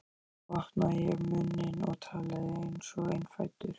Þá opnaði ég munninn og talaði einsog innfæddur